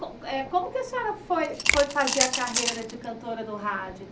Co eh como que a senhora foi foi fazer a carreira de cantora no rádio?